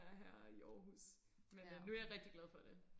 er her i Aarhus men øh nu er jeg rigtig glad for det